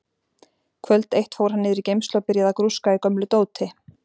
Kvöld eitt fór hann niður í geymslu og byrjaði að grúska í gömlu dóti.